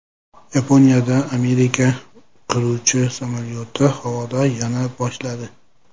Yaponiyada Amerika qiruvchi samolyoti havoda yona boshladi.